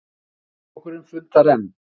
Þingflokkurinn fundar enn